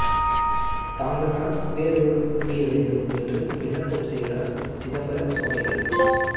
தாங்கள்தான் பேரருள் புரிய வேண்டும் என்று விண்ணப்பம் செய்கிறார் சிதம்பர சுவாமிகள்